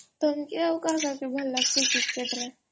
ତମକେ ଆଉ କାହାକୁ ଭଲ୍ ଲଗାସୀ କ୍ରିକେଟ ରେ ?